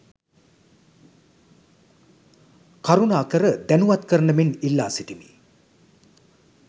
කරුණාකර දැනුවත් කරන මෙන් ඉල්ලා සිටිමි.